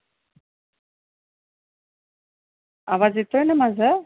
आवाज येतोय ना माझं?